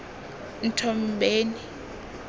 nthombeni